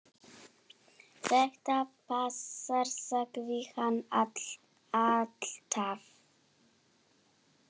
Þetta passar, sagði hann alltaf.